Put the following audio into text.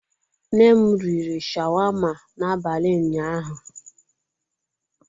Nne m riri sháwámá n'abalị ụnyaahụ.